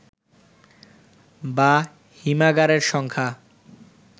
বা হিমাগারের সংখ্যা